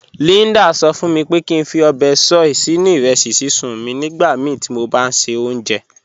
Líndà sọ̀ fún mí pé kí n fí óbè soy sínu irẹsí síṣun mí nígbàmíí tí mó bá n ṣẹ ọ̀unṣẹ́.